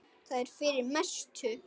Það er fyrir mestu.